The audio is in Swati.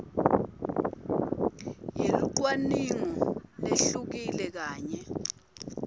yelucwaningo lehlukile kanye